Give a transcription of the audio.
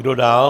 Kdo dál?